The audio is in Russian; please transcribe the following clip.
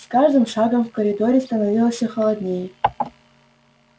с каждым шагом в коридоре становилось всё холоднее